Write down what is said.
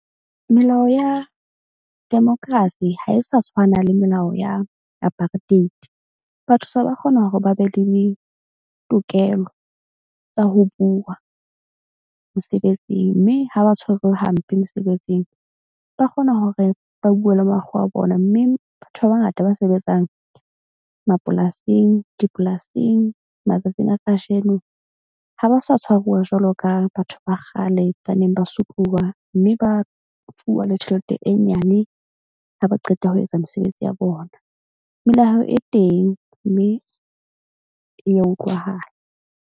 Melao ya democracy ha e sa tshwana le melao ya apartheid. Batho se ba kgona hore ba be le tokelo tsa ho bua mosebetsing. Mme ha ba tshwarwe hampe mosebetsing, ba kgona hore ba bue le makgowa a bona. Mme batho ba bangata ba sebetsang mapolasing. Dipolasing matsatsing a kajeno ha ba sa tshwaruwa jwalo ka batho ba kgale ba neng ba sotluwa. Mme ba fuwa le tjhelete e nyane ha ba qeta ho etsa mesebetsi ya bona. Melao e teng mme e ya utlwahala.